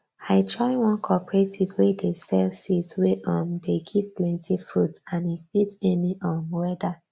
i join one cooperative wey dey sell seeds wey um dey give plenty fruits and e fit any um weather